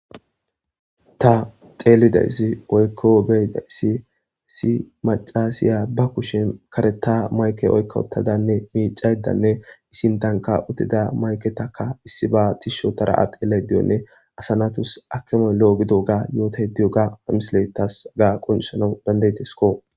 Ta xeelidayssi oykko beyidayssi issi macasiya ba kushen kareta mayke oykka uttadanne miicaydanne sintanka utida mayketaka issi ba tishsh otara a' xelayda diyoganne asanatus akemoy lo7o gido ga yootay diyoga ha mislet tas hega qoncissanawu danda'desko.